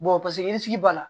paseke sige b'a la